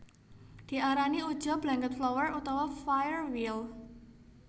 Diarani uja blanketflower utawa firewheel